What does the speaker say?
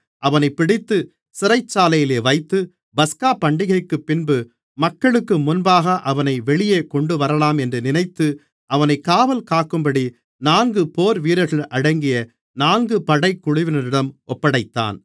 அவனைப் பிடித்து சிறைச்சாலையிலே வைத்து பஸ்காபண்டிகைக்குப்பின்பு மக்களுக்கு முன்பாக அவனை வெளியே கொண்டுவரலாம் என்று நினைத்து அவனைக் காவல்காக்கும்படி நான்கு போர்வீரர்கள் அடங்கிய நான்கு படைக் குழுவினரிடம் ஒப்படைத்தான்